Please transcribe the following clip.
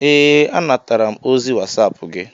Ee, anatara m ozi wasap gi